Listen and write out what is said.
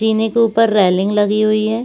जीने के ऊपर रेलिंग लगी हुई है।